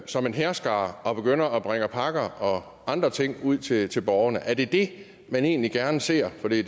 som en hærskare og begynder at bringe pakker og andre ting ud til til borgerne er det det man egentlig gerne ser for det